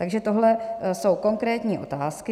Takže tohle jsou konkrétní otázky.